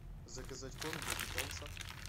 заказать корм для питомца